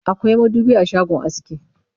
akwai madubi a shagon aski